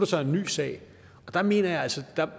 så en ny sag og der mener jeg altså